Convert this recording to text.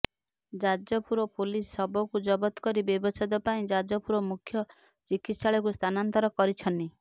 Jajpur police ଶବକୁ ଜବତ କରି ବ୍ୟବଛେଦ ପାଇଁ ଯାଜପୁର ମୁଖ୍ୟ ଚିକିତ୍ସାଳୟକୁ ସ୍ଥାନାନ୍ତର କରିଛନି